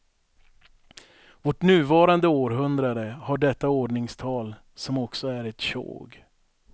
Vårt nuvarande århundrade har detta ordningstal som också är ett tjog.